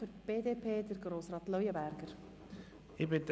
Zuerst hat Grossrat Leuenberger für die BDP das Wort.